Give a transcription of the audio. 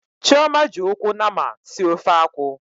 Chioma ji ụkwụ nama sie ofe akwu.